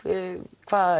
hvað